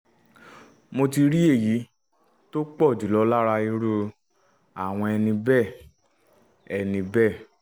mo ti rí èyí tó pọ̀ jùlọ lára irú àwọn ẹni bẹ́ẹ̀ ẹni bẹ́ẹ̀